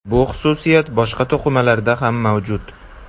Bu xususiyat boshqa to‘qimalarda ham mavjud.